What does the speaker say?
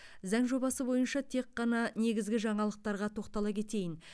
заң жобасы бойынша тек қана негізгі жаңалықтарға тоқтала кетейін